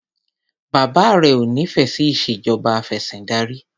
Bàbá rẹ ò nífẹẹ sí ìṣèjọba afẹ̀sìndarí.